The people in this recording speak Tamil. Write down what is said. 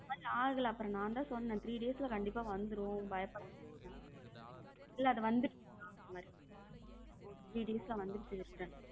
But ஆகல அப்புறம் நான் தான் சொன்னேன three days கண்டிப்பா வந்துரும் பயப்படாதன்னு இல்ல வந்துருச்சுன்ன three days வந்துருச்சு return.